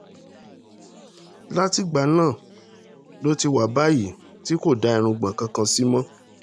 látìgbà náà ló ti wà báyìí tí kò dá irun kankan sí mọ́